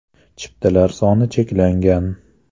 Chiptalar soni cheklangan.